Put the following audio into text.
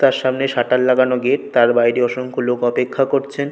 তার সামনে শাটার লাগানো গেট তার বাইরে অসংখ লোক অপেক্ষা করছে।